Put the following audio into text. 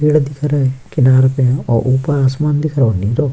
पेड़ दिख रहे किनार पे और ऊपर आसमान दिख रहो नीलो --